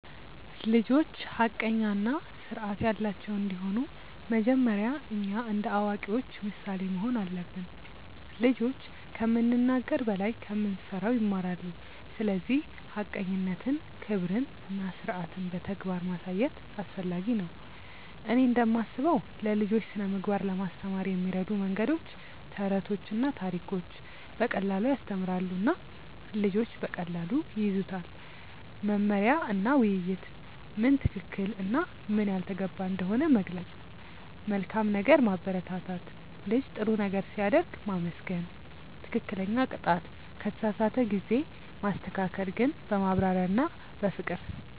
ልጆች ሐቀኛ እና ስርዓት ያላቸው እንዲሆኑ መጀመሪያ እኛ እንደ አዋቂዎች ምሳሌ መሆን አለብን። ልጆች ከምንናገር በላይ ከምንሠራ ይማራሉ፤ ስለዚህ ሐቀኝነትን፣ ክብርን እና ስርዓትን በተግባር ማሳየት አስፈላጊ ነው። እኔ እንደምስበው ለልጆች ስነ ምግባር ለማስተማር የሚረዱ መንገዶች፦ ተረቶችና ታሪኮች –> በቀላሉ ያስተምራሉ እና ልጆች በቀላሉ ይያዙታል። መመሪያ እና ውይይት –> ምን ትክክል እና ምን ያልተገባ እንደሆነ መግለጽ። መልካም ነገር ማበረታት –> ልጅ ጥሩ ነገር ሲያደርግ ማመስገን። ትክክለኛ ቅጣት –> ከተሳሳተ ጊዜ ማስተካከል ግን በማብራሪያ እና በፍቅር።